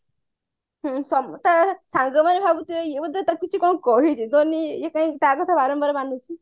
ହୁଁ ସବୁ ତା ସାଙ୍ଗ ମାନେ ଭାବି ଥିବେ ଏଇ ବୋଧେ ତାକୁ କିଛି କଣ କହିଛି then ଇଏ କାହିକି ତା କଥା ବାରମ୍ବାର ତା କଥା ମାନୁଛି